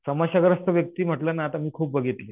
समस्याग्रस्त व्यक्ती जर म्हंटल ना तर मी खूप बघितली.